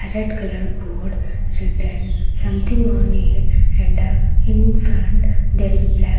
red colour board written something on it and in front there is a black --